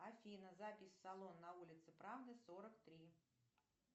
афина запись в салон на улице правды сорок три